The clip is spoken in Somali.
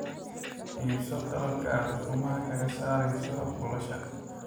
Iibso qalabka aad ukumaha ka saarayso buulasha.